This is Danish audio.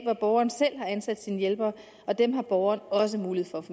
hvor borgeren selv har ansat sine hjælpere og dem har borgeren også mulighed for